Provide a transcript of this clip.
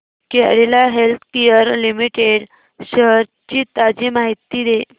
Cadila healthcare limited shares ची ताजी माहिती दे